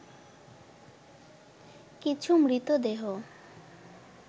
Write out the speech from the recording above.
কিছু মৃতদেহ